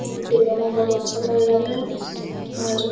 इ दुर्गा में बहोत अच्छा लग रहले और --